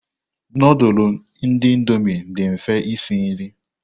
Nudulu ndi indomii dị mfe esi nri.